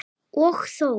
Og þó.